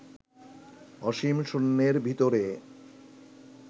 অসীম শূন্যের ভিতরে